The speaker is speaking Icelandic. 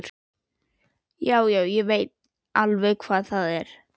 Já, já, ég veit alveg hvar það er.